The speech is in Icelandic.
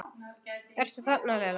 Ertu þarna Lilla?